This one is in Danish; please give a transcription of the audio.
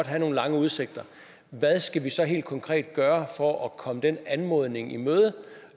have nogle lange udsigter hvad skal vi så helt konkret gøre for at komme den anmodning i møde